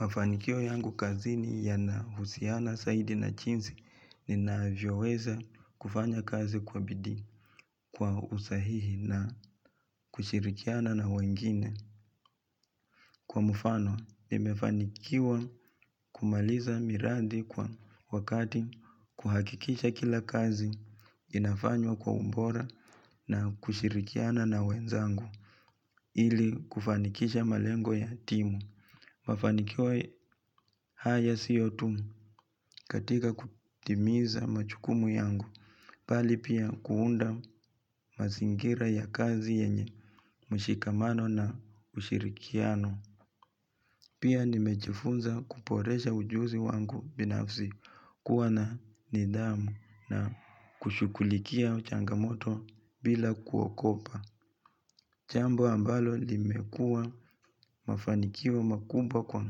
Mafanikio yangu kazini yanahusiana zaidi na jinsi ninavyoweza kufanya kazi kwa bidii kwa usahihi na kushirikiana na wengine. Kwa mfano, nimefanikiwa kumaliza miradi kwa wakati kuhakikisha kila kazi inafanywa kwa ubora na kushirikiana na wenzangu ili kufanikisha malengo ya timu. Mafanikio haya sio tu katika kutimiza majukumu yangu mbali pia kuunda mazingira ya kazi yenye mshikamano na ushirikiano. Pia nimejifunza kuboresha ujuzi wangu binafsi kuwa na nidhamu na kushughulikia changamoto bila kuogopa. Jambo ambalo limekua mafanikio makubwa kwa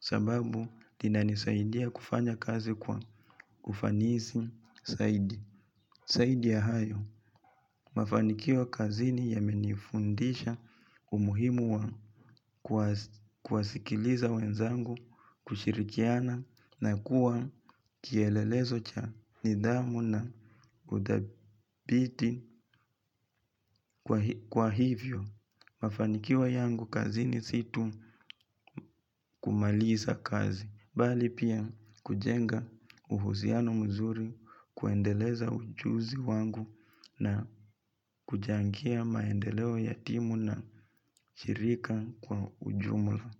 sababu inanisaidia kufanya kazi kwa ufanisi zaidi. Zaidi ya hayo, mafanikio kazini yamenifundisha umuhimu wa kuwasikiliza wenzangu kushirikiana na kuwa kielelezo cha nidhamu na udhabiti kwa hivyo. Mafanikio yangu kazini si tu kumaliza kazi, bali pia kujenga uhusiano mzuri kuendeleza ujuzi wangu na kuchangia maendeleo ya timu na shirika kwa ujumla.